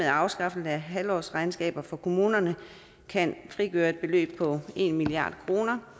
og afskaffelsen af halvårsregnskaber for kommunerne kan frigøre et beløb på en milliard kroner